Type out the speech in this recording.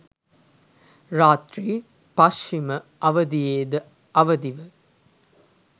රාත්‍රී පශ්චිම අවධියෙද අවදිව